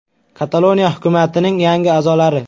Kataloniya hukumatining yangi a’zolari.